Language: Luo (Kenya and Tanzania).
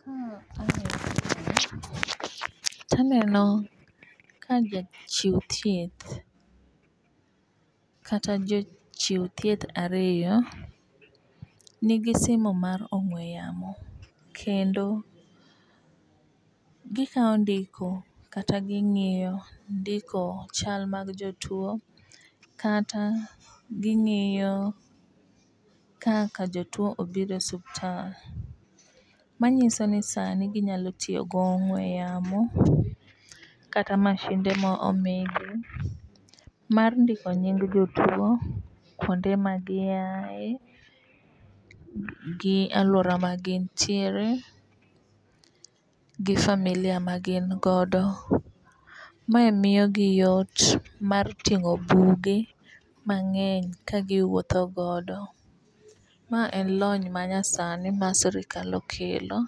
Ka aneno picha ni taneno ka jachiw thieth kata jochiw thieth ariyo nigi simo mar ong'we yamo kendo gikawo ndiko kata ging'iyo ndiko chal mar jotuo kata ging'iyo kaka jotuo obiro e osiptal. Manyiso ni sani ginyalo tiyo gong'we yamo kata masinde ma omigi mar ndiko nying jotuo konde ma giaye gi aluora ma gin tiere gi familia magin godo. Mae miyo gi yot mar ting'o buge mang'eny ka giwuotho godo .Ma en lony ma nya sani ma sirikal okelo